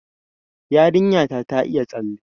Yarinya ta ta iya tsalle